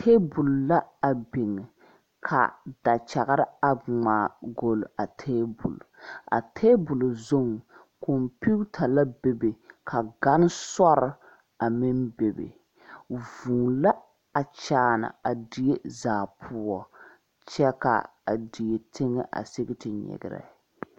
Tabole la a biŋ ka dakyagre a ngmaagolle a tabolɔ a tabolɔ zuŋ kɔmpiuta 'a be a be ka gane sorre a meŋ bebe vūū la a kyaane a die zaa poɔ kyɛ ka a die teŋɛ a sige ti nyigrɛ.